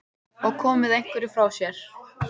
Og komið einhverju frá sér?